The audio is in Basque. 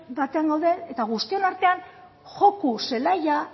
batean gaude eta guztion artean joko zelaia